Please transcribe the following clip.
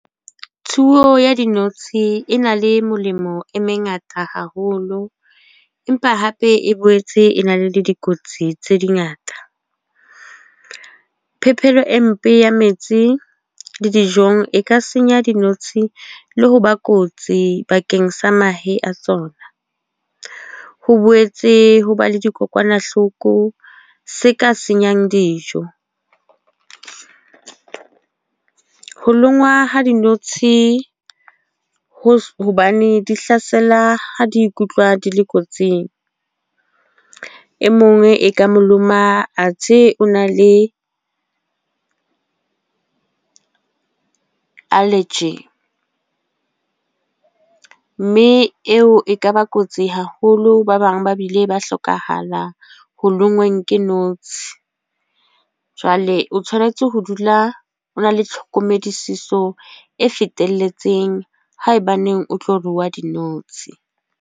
Tsuo ya dinotshi e na le melemo e mengata haholo. Empa hape e boetse e na le le dikotsi tse dingata. Phepelo e mpe ya metsi le dijong e ka senya dinotshi le ho ba kotsi bakeng sa mahe a tsona. Ho boetse ho ba le dikokwanahloko se ka senyang dijo. Ho lonngwa ha dinotshi, ho hobane di hlasela ha di ikutlwa di le kotsing. E mong e ka maloma a the o na le allergy. Mme eo e kaba kotsi haholo, ba bang ba bile ba hlokahala ho lengweng ke notshi. Jwale o tshwanetse ho dula o na le tlhokomediso e fetelletseng haebaneng o tlo rua dinotshi.